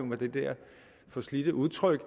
med det der forslidte udtryk